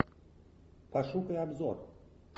пошукай обзор